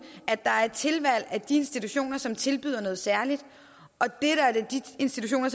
at der er tilvalg af de institutioner som tilbyder noget særligt og de institutioner